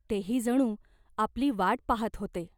तेही जणू आपली वाट पाहात होते.